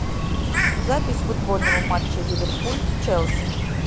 запись футбольного матча ливерпуль с челси